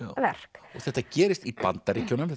verk þetta gerist í Bandaríkjunum